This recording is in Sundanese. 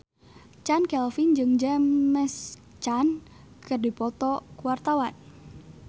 Chand Kelvin jeung James Caan keur dipoto ku wartawan